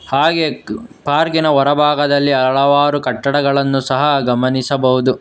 ಹಾಗೆ ಪಾರ್ಕಿನ ಹೊರಭಾಗದಲ್ಲಿ ಹಲವಾರು ಕಟ್ಟಡಗಳನ್ನು ಸಹ ಗಮನಿಸಬಹುದು.